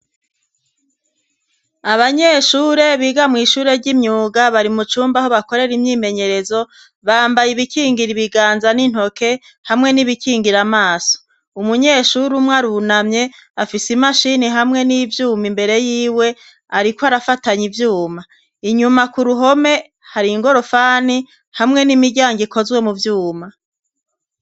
Abanyeshure biga mw' ishure ry'imyuga bari mu cumba aho bakorera imyimenyerezo; bambaye ibikingira ibiganza n'intoke hamwe n'ibikingira amaso. Umunyeshuri umwe arunamye, afise imashini hamwe n'ivyuma imbere y'iwe ariko arafatanye ivyuma. Inyuma ku ruhome, hari ingorofani hamwe n'imiryango ikozwe mu vyuma.